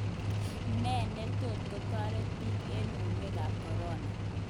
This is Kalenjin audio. Ne netot kotoret bik eng uinwek kap corona?